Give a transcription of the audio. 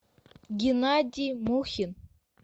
геннадий мухин